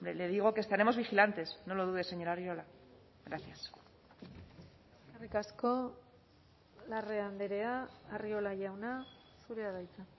le digo que estaremos vigilantes no lo dude señor arriola gracias eskerrik asko larrea andrea arriola jauna zurea da hitza